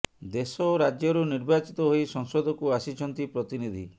ଦେଶ ଓ ରାଜ୍ୟରୁ ନିର୍ବାଚିତ ହୋଇ ସଂସଦକୁ ଆସିଛନ୍ତି ପ୍ରତିନିଧି